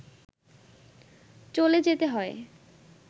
চলে যেতে হয়